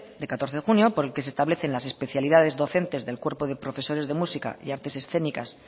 de catorce de junio por el que se establece las especialidades docentes del cuerpo de profesores de música y artes escénicas